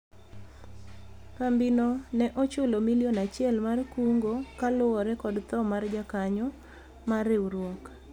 kambi no ne ochulo milion achiel mar kungo kaluwore kod tho mar jakanyo mar riwruok